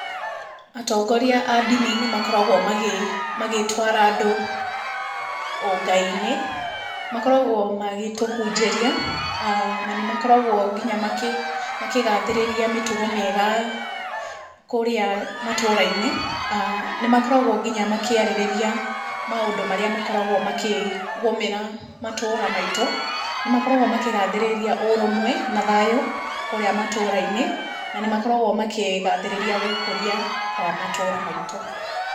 Atongoria a ndini nĩ makoragwo magĩtwara andũ ũngai-inĩ, makoragwo magĩtũhunjĩria, na nĩ makoragwo nginya makĩgathĩrĩria mĩtugo mĩega kũũrĩa matũra-inĩ, nĩ makoragwo nginya makĩarĩrĩria maũndũ marĩa makoragwo makĩgũmĩra matũra maitũ, nĩ makoragwo makĩgathĩrĩria ũrũmwe na thayũ kũũrĩa matũta-inĩ , na nĩ makoragwo makĩgathĩrĩria gũkũria kwa matũra maitũ.